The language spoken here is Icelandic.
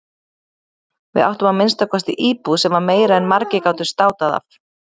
Við áttum að minnsta kosti íbúð sem var meira en margir gátu státað af.